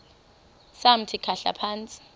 samthi khahla phantsi